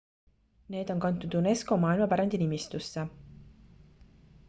need on kantud unesco maailmapärandi nimistusse